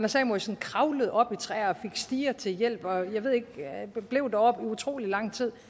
samuelsen kravlede op i træer og fik stiger til hjælp og blev deroppe i utrolig lang tid